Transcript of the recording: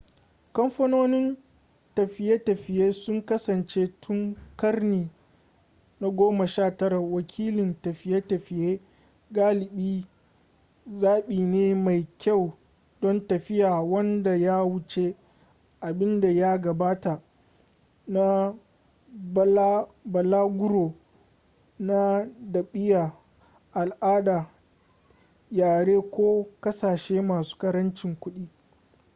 kamfanonin tafiye-tafiye sun kasance tun karni na 19 wakilin tafiye-tafiye galibi zaɓi ne mai kyau don tafiya wanda ya wuce abin da ya gabata na balaguro na ɗabi'a al'ada yare ko ƙasashe masu ƙarancin kuɗi